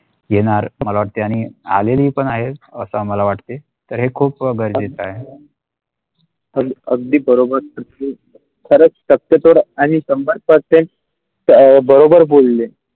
येणार मला वाटते आणि आलेली पण आहे असं मला वाटतंय तर हे खूप गरजेचा आहे अगदी बरोबर खरंच आणि संबंधाचे ते बरोबर बोलले.